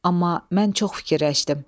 Amma mən çox fikirləşdim.